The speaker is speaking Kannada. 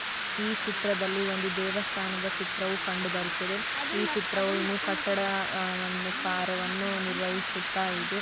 ಈ ಚಿತ್ರದಲ್ಲಿ ಒಂದು ದೇವಸ್ತಾನದ ಚಿತ್ರವೂ ಕಂಡ ಬರುತ್ತದೆ ಈ ಚಿತ್ರವೂ ಇನ್ನು ಕಟ್ಟಡ ಆಕರ ನಿರ್ವಹಿಸುತ್ತ ಇದೆ .